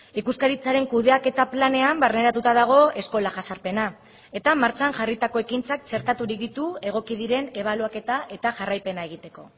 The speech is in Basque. ikuskaritzaren kudeaketa planean barneratuta dago eskola jazarpena eta martxan jarritako ekintzak txertaturik ditu egoki diren ebaluaketa eta jarraipena egiteko